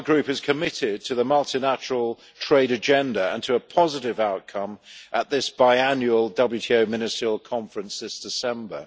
ECR Group is committed to the multilateral trade agenda and to a positive outcome at this biannual WTO ministerial conference this December.